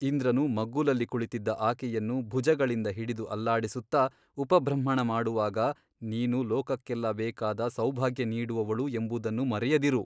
ಇಂದ್ರನು ಮಗ್ಗುಲಲ್ಲಿ ಕುಳಿತಿದ್ದ ಆಕೆಯನ್ನು ಭುಜಗಳಿಂದ ಹಿಡಿದು ಅಲ್ಲಾಡಿಸುತ್ತಾ ಉಪಬೃಂಹಣಮಾಡುವಾಗ ನೀನು ಲೋಕಕ್ಕೆಲ್ಲ ಬೇಕಾದ ಸೌಭಾಗ್ಯ ನೀಡುವವಳು ಎಂಬುದನ್ನು ಮರೆಯದಿರು.